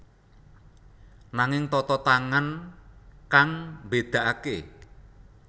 Nanging tata tangan kang mbédakaké